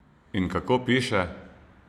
In kako piše?